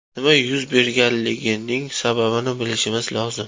Nima yuz berganligining sababini bilishimiz lozim.